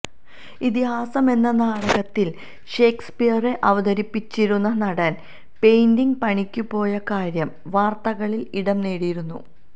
ഇതിഹാസമെന്ന നാടകത്തിൽ ഷേക്സ്പിയറെ അവതരിപ്പിച്ചിരുന്ന നടൻ പെയിന്റിങ് പണിക്കു പോയ കാര്യം വാർത്തകളിൽ ഇടം നേടിയിരുന്നു